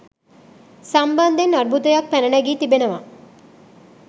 සම්බන්ධයෙන් අර්බුදයක් පැන නැගී තිබෙනවා.